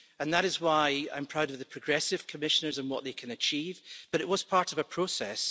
That is why I'm proud of the progressive Commissioners and what they can achieve, but it was part of a process.